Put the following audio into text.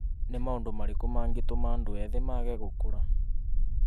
Nĩ maũndũ marĩakũ magitũma andũ ethĩ mage gukũra ?